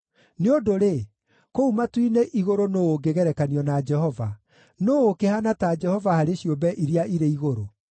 Nĩ ũndũ-rĩ, kũu matu-inĩ igũrũ nũũ ũngĩgerekanio na Jehova? Nũũ ũkĩhaana ta Jehova harĩ ciũmbe iria irĩ igũrũ?